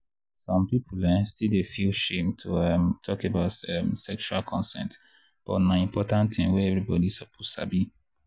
some people um still dey feel shame to um talk about um sexual consent but na important thing wey everybody suppose sabi.